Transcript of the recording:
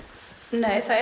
nei það